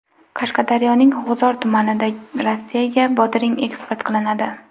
Qashqadaryoning G‘uzor tumanidan Rossiyaga bodring eksport qilinadi.